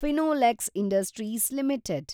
Finolex industries limited